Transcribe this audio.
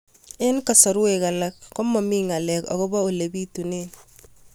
Eng' kasarwek alak ko mami ng'alek akopo ole pitunee